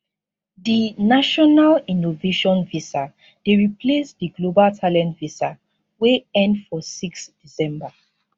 di national innovation visa dey replace di global talent visa wey end for 6 december